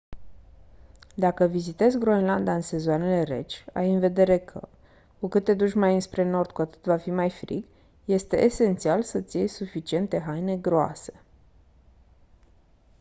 dacă vizitezi groenlanda în sezoanele reci ai în vedere că cu cât te duci mai înspre nord cu atât va fi mai frig este esențial să-ți iei suficiente haine groase